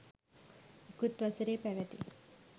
ඉකුත් වසරේ පැවැති